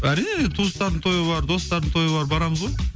әрине туыстардың тойы бар достардың тойы бар барамыз ғой